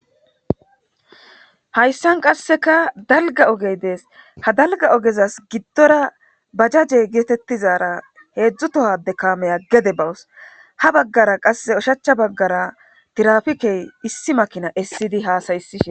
Haysan qaseka dalga oge dees ha dalga ogezas gidora bajaje getetizara hezu toho camiya gede bawus ha bagara qase ushacha bagara tirafike issi makina esidi hasa'sishe dees.